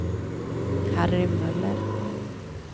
Harry Möller